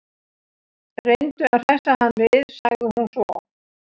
Reyndu að hressa hann við sagði hún svo.